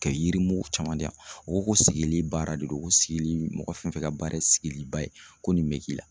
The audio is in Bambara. Kɛ yirimugu caman diyan u ko ko sigili baara de don ko sigili mɔgɔ fɛn fɛn ka baara ye sigiliba ye ko nin bɛ k'i la